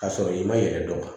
K'a sɔrɔ i ma yɛrɛ dɔn